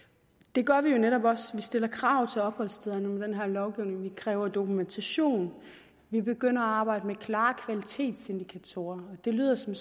det gør vi jo netop også vi stiller krav til opholdsstederne med den her lovgivning vi kræver dokumentation vi begynder at arbejde med klare kvalitetsindikatorer det lyder som